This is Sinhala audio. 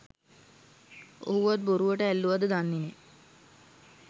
ඔහුවත් බොරුවට ඇල්ලුවද දන්නේ නැහැ.